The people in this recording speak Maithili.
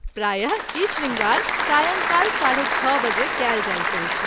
प्राय: ई शृंगार सायंकाल ६.३० बजे कएल जाइत अछि।